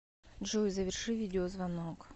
джой заверши видеозвонок